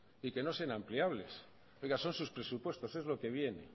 y que no sean ampliables oiga son sus presupuestos es lo que viene